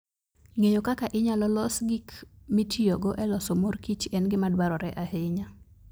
Ng'eyo kaka inyalo los gik mitiyogo e loso mor kich en gima dwarore ahinya.